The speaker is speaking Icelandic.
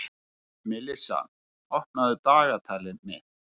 Melissa, opnaðu dagatalið mitt.